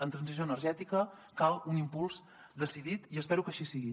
en transició energètica cal un impuls decidit i espero que així sigui